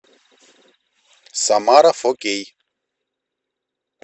самара фо кей